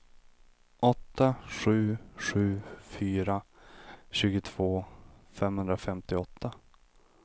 åtta sju sju fyra tjugotvå femhundrafemtioåtta